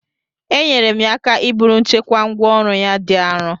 Enyere m ya aka iburu nchekwa ngwá ọrụ ya dị arọ